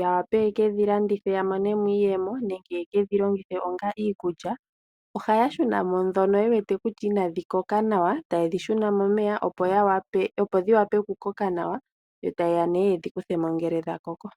ya wape ye kedhilandithe ya mone mo iiyemo nenge yeke dhi longithe onga iikulya, ohaya shuna mo ndhono ye wete kutya inadhi koka nawa taye dhi shuna momeya opo dhi wape okukoka nawa, taye ya yedhikuthemo ngele dha koko.